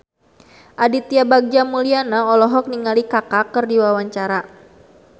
Aditya Bagja Mulyana olohok ningali Kaka keur diwawancara